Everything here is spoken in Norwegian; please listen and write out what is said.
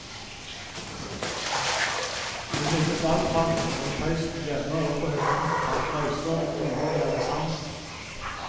Vi minnes all praten rundt peisen hjemme og på hytten, samt reiser og turer vi hadde sammen.